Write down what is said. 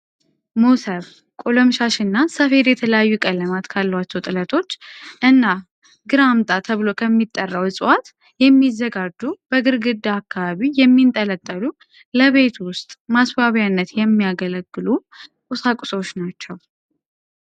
ሞሰብ፣ ቆለምሻሽ እና ሰፌድ የተለያዩ ቀለማት ካሏቸው ጥለቶች እና ግር አምጣ ተብሎ ከሚጠራው እፅዋት የሚዘጋጁ በግርግዳ አካባቢ የሚንጠለጠሉ ለቤት ውስጥ ማስዋቢያነት የሚያገለግሉ ቁሳቁሶች ናቸው።